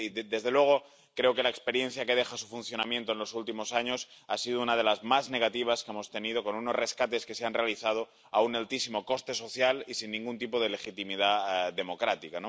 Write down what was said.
Desde luego, creo que la experiencia que deja su funcionamiento en los últimos años ha sido una de las más negativas que hemos tenido, con unos rescates que se han realizado a un altísimo coste social y sin ningún tipo de legitimidad democrática.